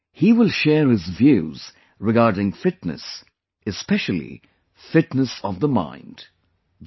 He will share his views regarding Fitness, especially Fitness of the Mind, i